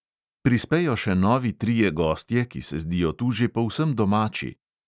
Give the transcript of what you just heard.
Prispejo še novi trije gostje, ki se zdijo tu že povsem domači.